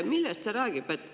Millest see räägib?